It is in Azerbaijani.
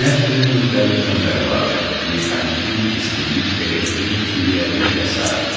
Enerjinin müxtəlif növləri vardır: Mexaniki, istilik, elektrik, kimyəvi və sair.